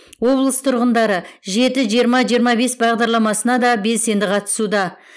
облыс тұрғындары жеті жиырма жиырма бес бағдарламасына да белсенді қатысуда